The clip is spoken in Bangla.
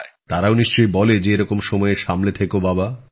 তারাও নিশ্চয়ই বলে যে এরকম সময়ে সাবধানে থেকো বাবা